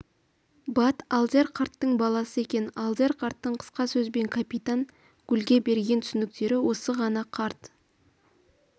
бат алдияр қарттың баласы екен алдияр қарттың қысқа сөзбен капитан гульге берген түсініктері осы ғана карт